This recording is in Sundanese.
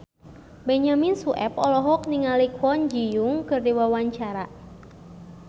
Benyamin Sueb olohok ningali Kwon Ji Yong keur diwawancara